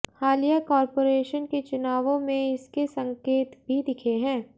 हालिया कॉर्पोरेशन के चुनावों में इसके संकेत भी दिखे हैं